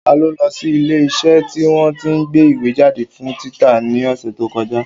Ta ló lọ sí ilé iṣẹ́ tí wọ́n tí ń gbé ìwé jáde fún títa ní ọ̀sẹ̀ tí ó kọjá?